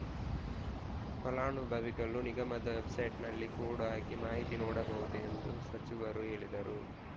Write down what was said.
ಫಲಾನುಭವಿಗಳು ನಿಗಮದ ವೆಬ್‌ಸೈಟ್‌ನಲ್ಲಿ ಕೋಡ್‌ ಹಾಕಿ ಮಾಹಿತಿ ನೋಡಬಹುದು ಎಂದು ಸಚಿವರು ಹೇಳಿದರು